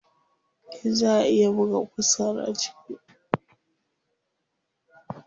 Eh, zaa a iya buga ƙusar a cikin kujerar.